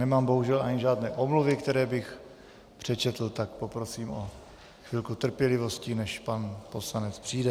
Nemám bohužel ani žádné omluvy, které bych přečetl, tak poprosím o chvilku trpělivosti, než pan poslanec přijde.